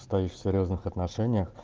стоишь в серьёзных отношениях